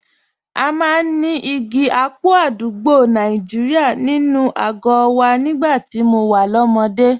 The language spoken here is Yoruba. A máa ń ní igi ápù àdúgbò Nàìjíríà nínú àgọ́ wa nígbà tí mo wà lọ́mọdé